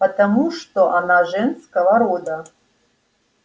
потому что она женского рода